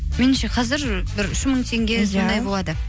меніңше қазір бір үш мың теңге сондай болады